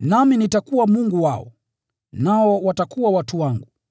nami nitakuwa Mungu wao, nao watakuwa watu wangu.”